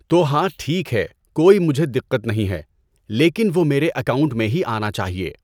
تو ہاں ٹھیک ہے کوئی مجھے دقت نہیں ہے لیکن وہ میرے اکاؤنٹ میں ہی آنا چاہئے۔